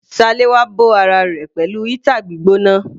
Salewa bó ara rẹ̀ pẹ̀lú heater gbígbóná.